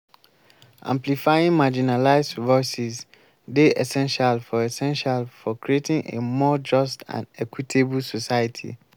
amplifying marginalized voices dey essential for essential for creating a more just and equitable society.